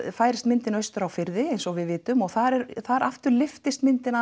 færist myndin austur á firði eins og við vitum og þar þar aftur lyftist myndin